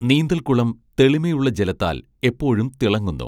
നീന്തൽക്കുളം തെളിമയുള്ള ജലത്താൽ എപ്പോഴും തിളങ്ങുന്നു